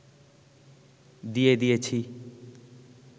দিয়ে দিয়েছি